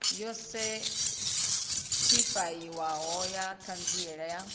yo sethifaiwaho ya ṱhanziela ya